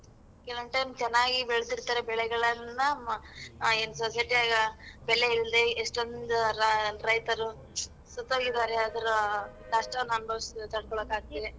ಕೆಲವೊನ್ time ಚೆನ್ನಾಗಿ ಬೆಳ್ದಿರ್ತಾರೆ ಬೆಳೆಗಳನ್ನ ಮ ಇನ್ society ಆಗ ಬೆಲೆ ಇಲ್ದೆ ಎಷ್ಟೊಂದ್ ರ~ ರೈತರು ಸತ್ಹೋಗಿದಾರೆ ಅದರ ನಷ್ಟನ ಅನುಭವ್ಸಿ ತಡ್ಕೊಳಕ್ ಆಗ್ದೆಲೆ.